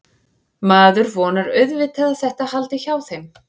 Maður vonar auðvitað að þetta haldi hjá þeim.